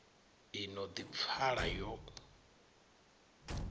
i no ḓi pfala yo